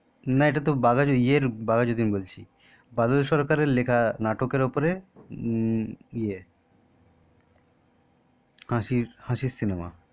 না এটা তো এই বাঘাযতীন বলছি বাদল সরকার এর লেখা নাটক এর উপরে উম ই এ হাসির সিনেমা